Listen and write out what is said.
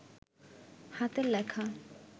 হাতের লেখা